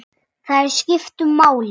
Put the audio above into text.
Þær skiptu máli.